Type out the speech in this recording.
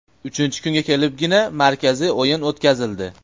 Uchinchi kunga kelibgina markaziy o‘yin o‘tkazildi.